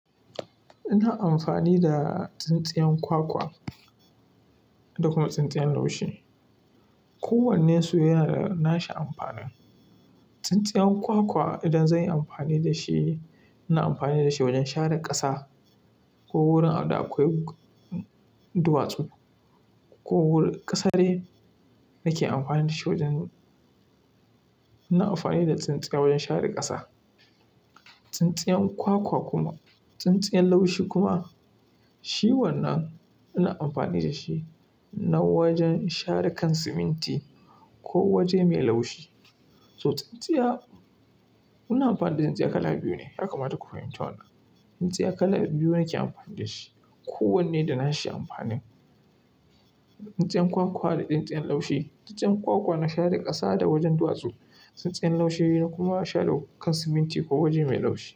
Ina amfani da tsintsiyan kwakwa da kuma tsintsiyan laushi. Kowannen su yana da nashi amfanin. Tsintsiyan kwakwa idan zan yi amfani da shi, ina amfani da shi wajen share ƙasa ko wurin da akwai duwatsu ko ƙasa dai. Nake amfani da shi wajen-- ina amfani da tsintsiya wajen share ƙasa. Tsintsiyan kwakwa kuma, tsintsiyan laushi kuma, shi wannan ina amfani da shi na wajen share kan siminti ko waje mai laushi. So, tsintsiya, ina amfani da tsintsiya kala biyu ne, yakamata ku fahimci wannan Tsintsiya kala biyu nake amfani da shi. Kowanne da nashi amfanin. Tsintsiyan kwakwa da tsintsiyan laushi. Tsintsiyan kwakwa na share ƙasa da wajen duwatsu. Tsintsiyan laushi na kuma share kan siminti ko waje mai laushi.